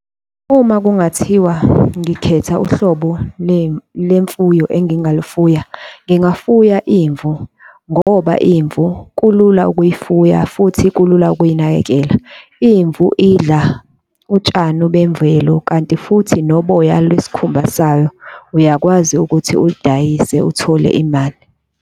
Uma kungathiwa ngikhetha uhlobo lemfuyo engingalifuya, ngingavuya imvu ngoba imvu kulula ukuyifuya futhi kulula ukuyinakekela. Imvu idla utshani bemvelo, kanti futhi noboya lwesikhumba sayo, uyakwazi ukuthi ulidayise uthole imali.